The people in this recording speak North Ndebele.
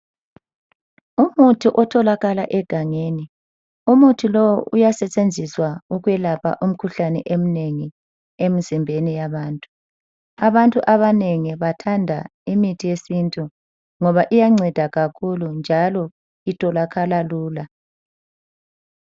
Umuthi otholakala egangeni. Umuthi lowu uyasetshenziswa ekwelapha imkhuhlane emnengi emzimbeni yabantu. Abantu abanengi bathanda imithi yesintu ngoba iyanceda kakhulu njalo itholakala lula.